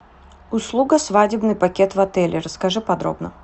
услуга свадебный пакет в отеле расскажи подробно